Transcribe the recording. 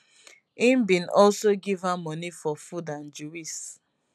im bin also give her money for food and juice